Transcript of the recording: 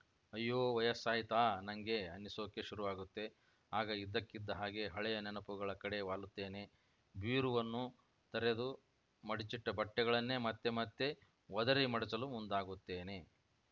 ಅಯ್ಯೋ ವಯಸ್ಸಾಯ್ತಾ ನಂಗೆ ಅನ್ನಿಸೋಕೆ ಶುರುವಾಗುತ್ತೆ ಆಗ ಇದ್ದಕ್ಕಿದ್ದ ಹಾಗೆ ಹಳೆಯ ನೆನಪುಗಳ ಕಡೆ ವಾಲುತ್ತೇನೆ ಬೀರುವನ್ನು ತೆರೆದು ಮಡಚಿಟ್ಟಬಟ್ಟೆಗಳನ್ನೇ ಮತ್ತೆ ಮತ್ತೆ ಒದರಿ ಮಡಚಲು ಮುಂದಾಗುತ್ತೇನೆ